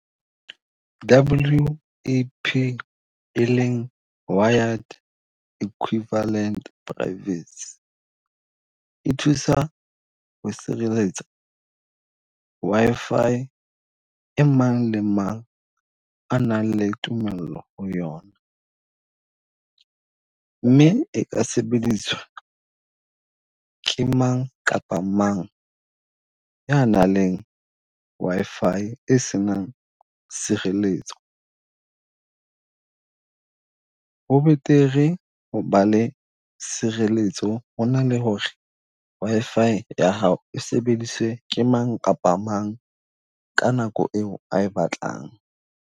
WEP e leng Wired Equivalent Privacy, e thusa ho sireletsa Wi-Fi e mang le mang a nang le tumello ho yona. Mme e ka sebediswa ke mang kapa mang ya nang le Wi-Fi e senang sireletso. Ho betere ba le sireletso, ho na le ho re Wi-Fi ya hao e sebediswe ke mang kapa mang ka nako e o a e batlang.